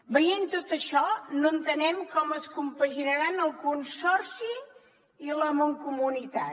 veient tot això no entenem com es compaginaran el consorci i la mancomunitat